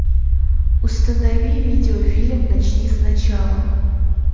установи видеофильм начни сначала